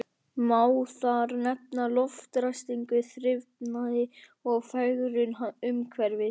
Má þar nefna loftræstingu, þrifnað og fegrun umhverfis.